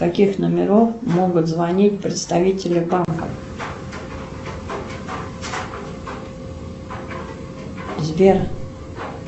с каких номеров могут звонить представители банка сбер